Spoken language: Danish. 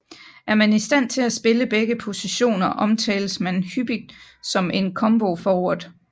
Er man i stand til at spille begge positioner omtales man hyppigt som en combo forward